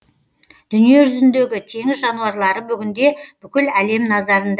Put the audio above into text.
дүниежүзіндегі теңіз жануарлары бүгінде бүкіл әлем назарында